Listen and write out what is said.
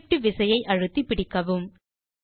Shift விசையை அழுத்தி பிடிக்கவும்